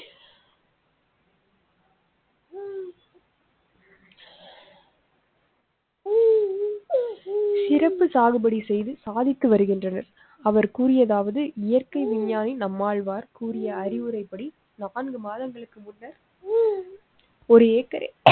சிறப்பு சாகுபடி செய்து சாதித்து வருகின்றனர். அவர் கூறியதாவது, இயற்கை விஞ்ஞானி நம்மாழ்வார் கூறிய அறிவுரைப்படி, நான்கு மாதங்களுக்கு முன்னர். ஒரு